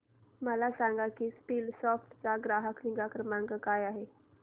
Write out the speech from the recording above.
मला सांग की स्कीलसॉफ्ट चा ग्राहक निगा क्रमांक काय आहे